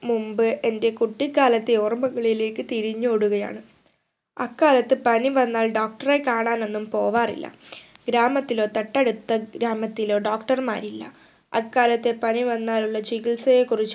മുമ്പ് എന്റെ കുട്ടിക്കാലത്തെ ഓർമകളിലേക്ക് തിരിഞ്ഞോടുകയാണ് അക്കാലത്ത് പനി വന്നാൽ Doctor റെ കാണാനൊന്നും പോവാറില്ല ഗ്രാമത്തിലോ തൊട്ടടുത്ത ഗ്രാമത്തിലോ Doctor മാരില്ല അക്കാലത്തെ പനി വന്നാലുള്ള ചികിത്സയെ കുറിച്ച്